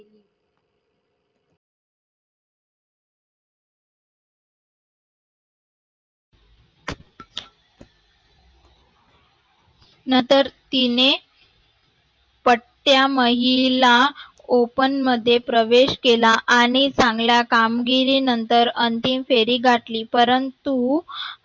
नंतर तिने पट्ट्या महिला open मध्ये प्रवेश केला आनी चांगला कामगिरीनंतर अंतिम फेरी घातली. परंतु